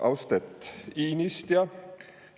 Austet iinistja!